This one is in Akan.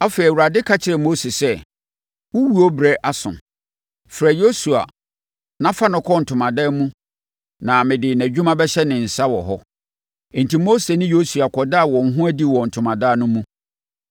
Afei, Awurade ka kyerɛɛ Mose sɛ, “Wo owuo berɛ aso. Frɛ Yosua na fa no kɔ ntomadan no mu na mede nʼadwuma bɛhyɛ ne nsa wɔ hɔ.” Enti Mose ne Yosua kɔdaa wɔn ho adi wɔ ntomadan no mu.